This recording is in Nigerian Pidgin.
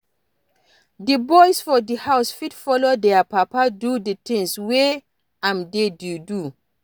Di boys for di house fit follow their papa do di things wey im dey do